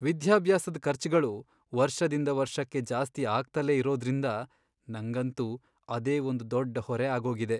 ವಿದ್ಯಾಭ್ಯಾಸದ್ ಖರ್ಚ್ಗಳು ವರ್ಷದಿಂದ ವರ್ಷಕ್ಕೆ ಜಾಸ್ತಿ ಆಗ್ತಲೇ ಇರೋದ್ರಿಂದ ನಂಗಂತೂ ಅದೇ ಒಂದ್ ದೊಡ್ ಹೊರೆ ಆಗೋಗಿದೆ.